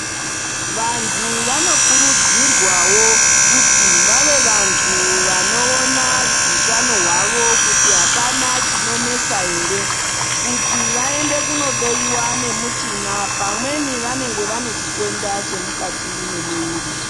Vantu vanokurudzirwawo kuti vave vantu vanoona hutano hwavo kuti hapana chinonesa here kuti kuti vaende kunohloyiwa nemuchina pamweni vanenge vane chitenda chemukati memuviri.